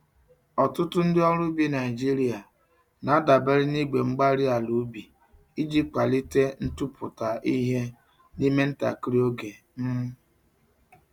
Ọtụtụ ndị ọrụ ubi Nigeria na-adabere na igwe-mgbárí-ala ubi iji kwalite ntụpụta ihe n'ime ntakịrị oge. um